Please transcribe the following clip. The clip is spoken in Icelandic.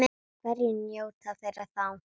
Hverjir njóta þeirra þá?